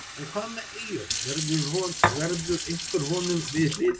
En hvað með Eyjólf, verður einhver honum við hlið?